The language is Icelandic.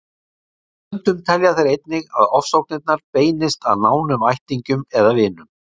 Stundum telja þeir einnig að ofsóknirnar beinist að nánum ættingjum eða vinum.